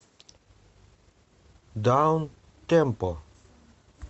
даунтемпо